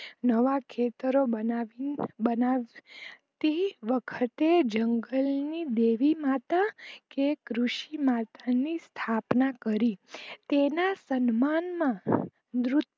નવા ખેતરો બનાવતી વખતે જંગલ ની દેવી માતા કે કૃષિ માતાની સ્થાપના કરી તેના સન્માન માં